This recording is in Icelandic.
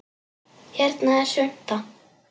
Hérna er svunta